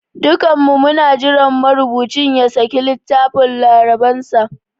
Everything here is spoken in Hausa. Dukanmu muna jiran marubucin ya saki littafin labaransa.